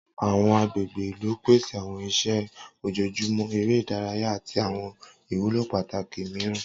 Awọn agbegbe ilu pese awọn iṣẹ ojoojumọ, ere idaraya ati awọn iwulo pataki miiran.